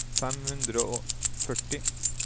fem hundre og førti